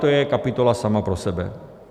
to je kapitola sama pro sebe.